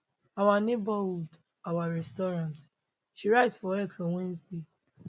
our neighborhood our restaurants she write for x on wednesday